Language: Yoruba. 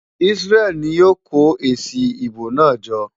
Isreal ni yóò kó èsì ìbò náà jọ?